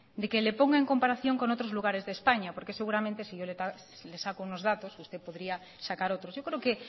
de le ponga en comparación con otros lugares de españa porque seguramente si yo le saco unos datos usted podría sacar otros yo creo que